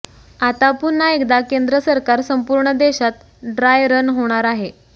आता पुन्हा एकदा केंद्र सरकार संपूर्ण देशात ड्राय रन होणार आहे